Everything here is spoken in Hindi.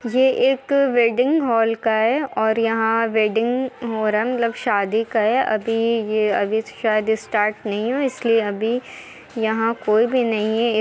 ये एक वेडिंग हॉल का है और यहां वेडिंग हो रंग शादी का है अभी यह शायद स्टार्ट नहीं हुआ है इसलिए अभी यहां कोई भी नहीं है।